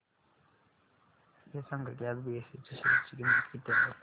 हे सांगा की आज बीएसई च्या शेअर ची किंमत किती आहे